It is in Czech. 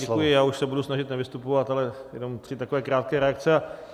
Děkuji, já už se budu snažit nevystupovat, ale jenom tři takové krátké reakce.